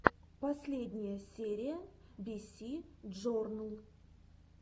последняя серия биси джорнл